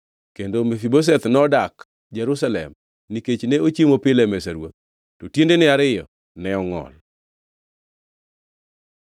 Kendo Mefibosheth nodak Jerusalem nikech ne ochiemo pile e mesa ruoth, to tiendene ariyo ne ongʼol.